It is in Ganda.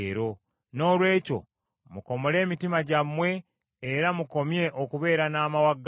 Noolwekyo mukomole emitima gyammwe, era mukomye okubeera n’amawagali.